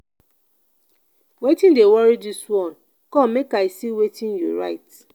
wetin dey worry dis one come make i see wetin you write